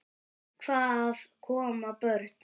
Hvað ef koma börn?